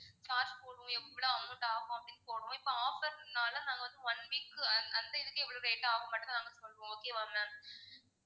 charge போடுவோம் எவ்வளோ amount ஆகும் அப்படின்னு போடுவோம் இப்போ offer னால நாங்க வந்து one week க்கு அந்த இதுக்கு எவ்வளோ rate ஆகும் மட்டும் தான் நாங்க சொல்லுவோம் okay வா ma'am